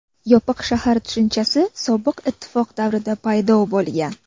Yopiq shahar tushunchasi Sobiq Ittifoq davrida paydo bo‘lgan.